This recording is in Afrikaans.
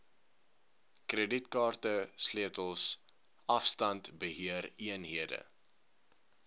kredietkaarte sleutels afstandbeheereenhede